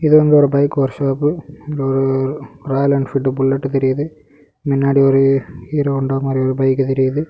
இது வந்து ஒரு bike workshop Royal Enfield bullet தெரியுது மின்னாடி ஒரு ஹீரோ ஹோண்டா மாரி ஒரு பைக் தெரியுது.